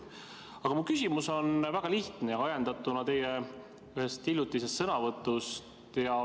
Aga mu küsimus on väga lihtne, ajendatuna teie ühest hiljutisest sõnavõtust.